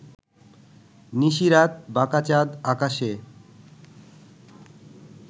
নিশি রাত বাঁকা চাঁদ আকাশে